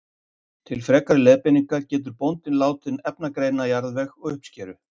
Til frekari leiðbeiningar getur bóndinn látið efnagreina jarðveg og uppskeru.